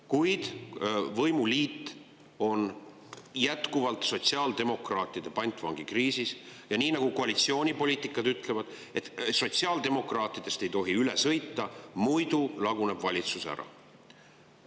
Kuid võimuliit on jätkuvalt sotsiaaldemokraatide ja koalitsioonipoliitikud ütlevad, et sotsiaaldemokraatidest ei tohi üle sõita, muidu laguneb valitsus ära.